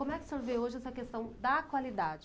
Como é que o senhor vê hoje essa questão da qualidade?